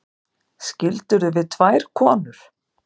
Skildirðu við tvær konur?